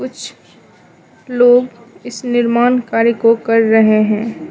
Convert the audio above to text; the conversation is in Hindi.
कुछ लोग इस निर्माण कार्य को कर रहे हैं।